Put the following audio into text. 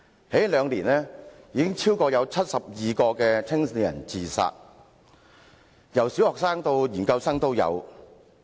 這兩年，已有超過72名年青人自殺，當中有小學生，也有研究生。